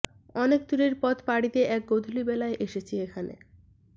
অনেক দূরের পথ পাড়ি দিয়ে এক গোধূলিবেলায় এসেছি এখানে